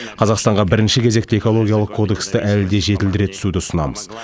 қазақстанға бірінші кезекте экологиялық кодексті әлі де жетілдіре түсуді ұсынамыз